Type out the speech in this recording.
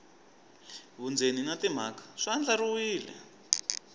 vundzeni na timhaka swi andlariwile